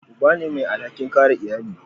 Uba ne mai alhakin kare iyali.